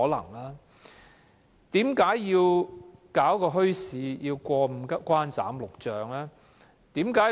為何設立一個墟市，要過五關、斬六將？